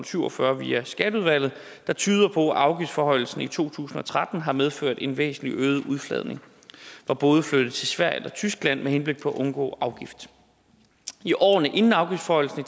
syv og fyrre via skatteudvalget der tyder på at afgiftsforhøjelsen i to tusind og tretten har medført en væsentlig øget udflagning hvor både flyttes til sverige eller tyskland med henblik på at undgå afgift i årene inden afgiftsforhøjelsen